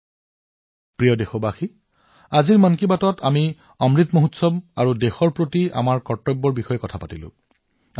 মোৰ মৰমৰ দেশবাসীসকল আজি মন কি বাতত আমি অমৃত উৎসৱ আৰু দেশৰ বাবে আমাৰ দায়িত্বৰ কথা পাতিলো